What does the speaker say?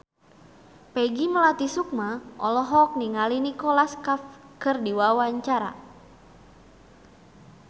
Peggy Melati Sukma olohok ningali Nicholas Cafe keur diwawancara